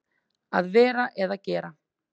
Að vera eða gera